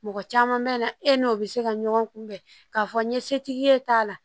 Mɔgɔ caman bɛ na e n'o bɛ se ka ɲɔgɔn kunbɛn k'a fɔ n ye setigi ye t'a la